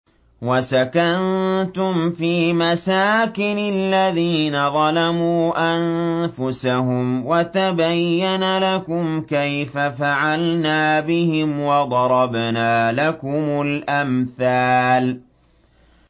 وَسَكَنتُمْ فِي مَسَاكِنِ الَّذِينَ ظَلَمُوا أَنفُسَهُمْ وَتَبَيَّنَ لَكُمْ كَيْفَ فَعَلْنَا بِهِمْ وَضَرَبْنَا لَكُمُ الْأَمْثَالَ